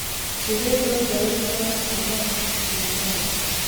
Sidee loo daweyn karaa qallooca Siprengela?